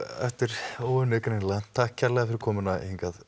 eftir óunnið greinilega takk kærlega fyrir komuna hingað